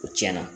O tiɲɛna